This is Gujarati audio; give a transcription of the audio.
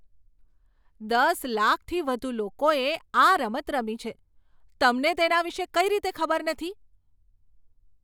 દસ લાખથી વધુ લોકોએ આ રમત રમી છે. તમને તેના વિષે કઈ રીતે ખબર નથી?